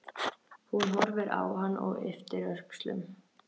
Hún horfir á hann og ypptir öxlum.